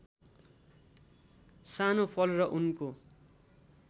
सानो फल र उनको